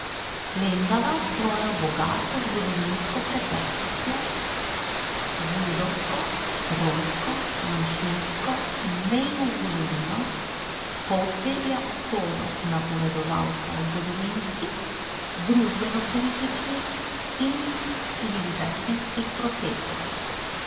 Lendava s svojo bogato zgodovinsko preteklostjo, z judovsko, romsko, manjšinsko in mejno zgodovino pooseblja usodo napovedovalca zgodovinskih, družbenopolitičnih in civilizacijskih procesov.